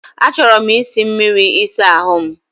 Achọrọ m isi mmiri ịsa ahụ m.